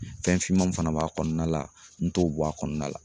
Fɛn finman fana b'a kɔnɔna la n t'o bɔ a kɔnɔna la